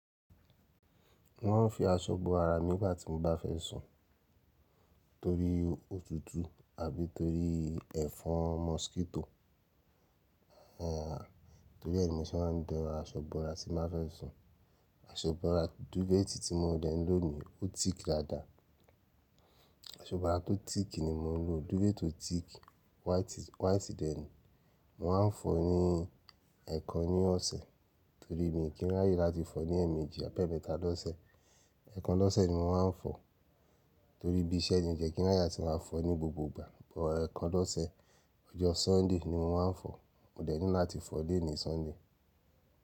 Mo maa ń fi aṣọ bo ara mi nigbà tí mo bá fẹ́ sùn torí òtútù àbí torí ẹ̀fọn mọ́síkíto. Ẹ̀, torí ẹ ni mo se maa ń dán aṣọ ibora tí n bá fẹ́ sùn. Aṣọ ibora duvet ti mo dẹ̀ n lónìí ó thick dáadáa. Aṣọ ibora tó thick ni mò ń lò. Duvet tó thick white, white dẹ̀ ní. Mo máa ń fọ̀ ọ́ ní ẹẹkan ní ọ̀sẹ̀ torí mi i kí n ráyè láti fọ̀ ọ́ ní ẹ̀ẹ̀méjì àbi eemẹ́ta lọ́sẹ̀. Ẹ̀ẹkan lọ́sẹ̀ ni mo máa ń fọ̀ ọ́ torí ibí iṣẹ́ ni ò jẹ́ kí n ráyè atí màá fọ̀ ọ́ ní gbogbo ìgbà but ẹẹkan lọ́sẹ̀. Ọjọ́ Sunday ni mo máa ń fọ̀ ọ́. Mo dẹ̀ ní láti fọ̀ ọ́ lenìí Sunday.